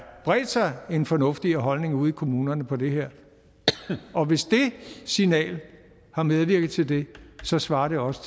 bredt sig en fornuftigere holdning ude i kommunerne på det her og hvis det signal har medvirket til det så svarer det også